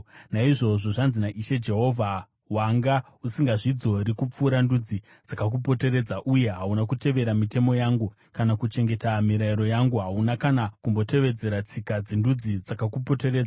“Naizvozvo zvanzi naIshe Jehovha: Wanga usingazvidzori kupfuura ndudzi dzakakupoteredza uye hauna kutevera mitemo yangu kana kuchengeta mirayiro yangu. Hauna kana kumbotevedzera tsika dzendudzi dzakakupoteredza.